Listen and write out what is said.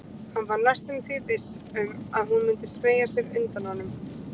Hann var næstum því viss um að hún myndi smeygja sér undan honum.